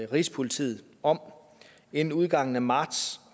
rigspolitiet om inden udgangen af marts